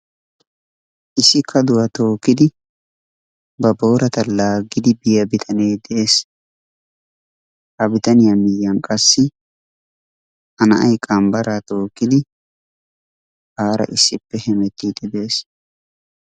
Issi kaduwa tookkidi ba boorata laaggidi biya bitanee de'es. Ha bitaniya miyyiyan qassi a na'ay qambbaraa tookkidi aara issippe hemettiiddi de'es.